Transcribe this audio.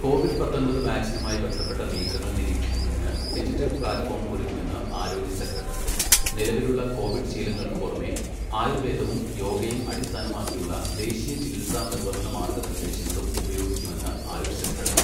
Covid പത്തൊമ്പത് വാക്സിനുമായി ബന്ധപ്പെട്ട നീക്കങ്ങൾ നിരീക്ഷിക്കുന്നതിന് ഡിജിറ്റൽ പ്ലാറ്റ്ഫോം ഒരുക്കുമെന്ന് ആരോഗ്യ സെക്രട്ടറി. നിലവിലുള്ള കോവിഡ് ശീലങ്ങൾക്കു പുറമേ ആയുർവേദവും യോഗയും അടിസ്ഥാനമാക്കിയുള്ള ദേശീയ ചികിത്സാ നിർവഹണ മാർഗനിർദ്ദേശങ്ങളും ഉപയോഗിക്കുമെന്ന് ആയുഷ് സെക്രട്ടറി